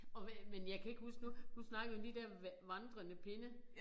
Og men jeg kan ikke huske nu nu snakkede vi om de der vandrende pinde